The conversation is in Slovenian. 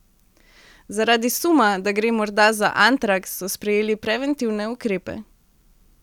Zaradi suma, da gre morda za antraks, so sprejeli preventivne ukrepe.